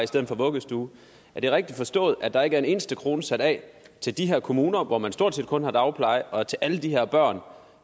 stedet for vuggestue er det rigtigt forstået at der ikke er en eneste krone sat af til de her kommuner hvor man stort set kun har dagpleje og til alle de her børn